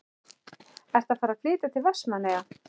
Ertu að fara að flytja til Vestmannaeyja?